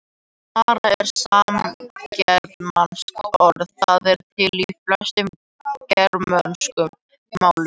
Mara er samgermanskt orð, það er til í flestum germönskum málum.